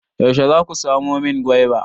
Yaushe za ku samo min gwaiba?